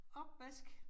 Opvask